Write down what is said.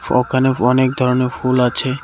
ওখানে অনেক ধরণের ফুল আছে।